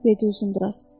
Dedi Uzunduraz.